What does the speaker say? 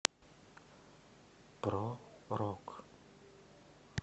про рок